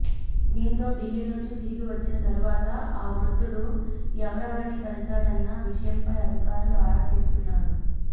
దీంతో ఢిల్లీ నుంచి తిరిగి వచ్చిన తరువాత ఆ వృద్ధుడు ఎవరెవరిని కలిశాడన్న విషయమై అధికారులు ఆరా తీస్తున్నారు